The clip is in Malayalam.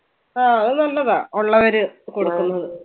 ആ അത് നല്ലതാ ഉള്ളവര് കൊടുക്കുന്നത്.